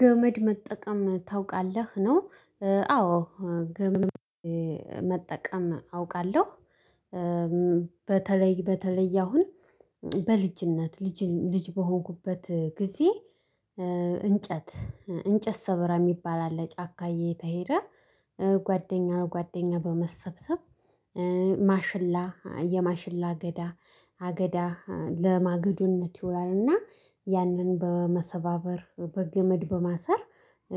ገመድ መጠቀም ታውቃለህ ነው። አዎ ገመድ መጠቀም አውቃለሁ። በተለይ በተለይ አሁን በልጅነት ልጅ ልጅ በሆንኩበት ጊዜ። እንጨት እንጨት ሰበራ የሚባል አለ ጫካ እየተሄደ ጓደኛ ለጓደኛ በመሰብሰብ። ማሽላ የማሽላ አገዳ አገዳ ለማገዶነት ይውላል እና ያንን በመሰባበር በገመድ በማሰር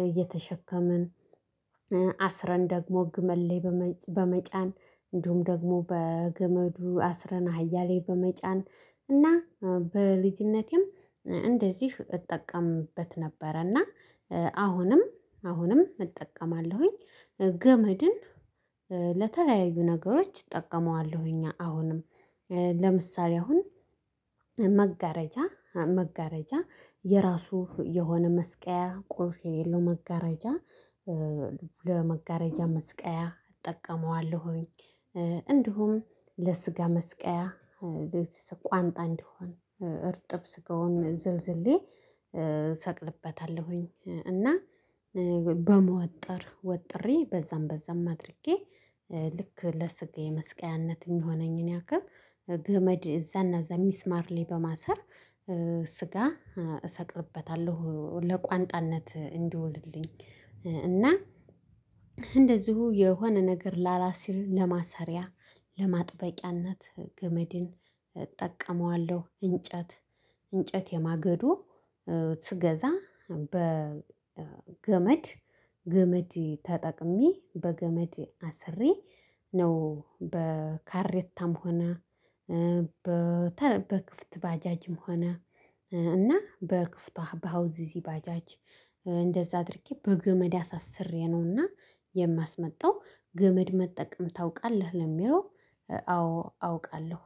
እየተሸከምን። አስረን ደግሞ ግመድ ላይ በመጫን እንዲሁም ደግሞ በገመዱ አስረን አህያ ላይ በመጫን እና በልጅነቴም እንደዚህ እጠቀምበት ነበረ እና አሁንም አሁንም እጠቀማለሁኝ። ገመድን ለተለያዩ ነገሮች እጠቀመዋለሁኝ አሁንም። ለምሳሌ አሁን መጋረጃ መጋረጃ የራሱ የሆነ መስቀያ ቁልፍ የሌለው መጋረጃ ለመጋረጃ መስቀያ እጠቀመዋለሁኝ። እንደሁም ለስጋ መስቀያ ቋንጣ እንዲሆን እርጥብ ስጋውን ዝልዝሌ ሰቅልበታለሁኝ። እና በመወጠር ወጥሬ በዛም በዛም አድርጌ ልክ ለስጋዬ መስቀያነት የሚሆነኝን ያክል ገመድ እዛና እዛ ሚስማር ላይ በማሰር ስጋ እሰቅልበታለሁ ለቋንጣነት እንዲውልልኝ። እና እንደዚሁ የሆነ ነገር ላላስር ለማሰሪያ ለማጥበቂያነት ገመድን እጠቀመዋለሁ። እንጨት እንጨት የማገዶ ስገዛ በገመድ ገመድ ተጠቅሜ በገመድ አስሬ ነው። በካሬታም ሆና በክፍት ባጃጅም ሆነ እና በክፍቷ በሃውስዚ ባጃጅ እንደዛ አድርጌ በገመድ አሳስሬ ነውና የማስመጣው። ገመድ መጠቀም ታውቃለህ ለሚለው አዎ አውቃለሁ